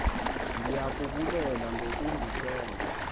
ndiya kubulela ngokundithemba